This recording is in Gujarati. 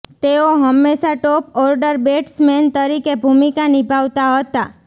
તેઓ હંમેશા ટોપ ઓર્ડર બેટ્સમેન તરીકે ભૂમિકા નિભાવતા હતા